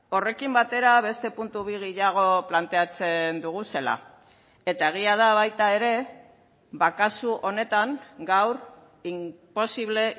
horrekin batera beste puntu bi gehiago planteatzen doguzela eta egia da baita ere kasu honetan gaur inposible